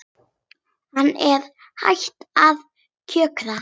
Hún er hætt að kjökra.